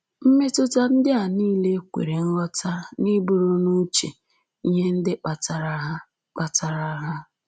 Mmetụta ndị a nile kwere nghọta n’iburu n’uche ihe ndị kpatara ha kpatara ha